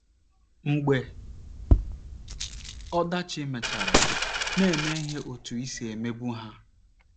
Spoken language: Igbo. Mgbe ọdachi mechara, na - eme ihe otú i si emebu ha